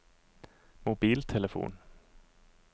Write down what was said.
mobiltelefon